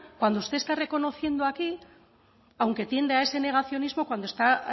cuando usted está reconociendo aquí aunque tiende a ese negacionismo cuando está